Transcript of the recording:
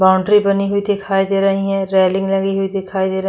Boundary बनी हुई दिखाई दे रही है रैलिंग लगी हुई दिखाई दे रही हैं।